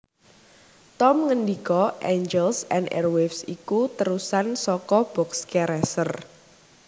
Tom ngendika Angels and Airwaves iku térusan saka Boxcar Racer